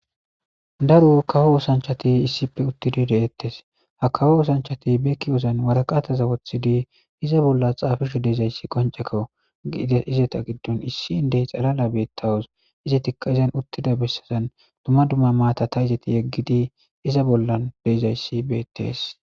daro kawo oosanchati issipe uttidi de7ettes ha kawo oosanchati beekki wozan waraqataza wothidi iza bollas xaafisho deezayssi qonceko iides izeta giddun issi indey xalala beettawus izatikka izan uttida bessazan duma dumma maata ta izati yeggidi iza bollan deezayssi beettees